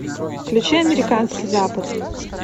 включи американский запад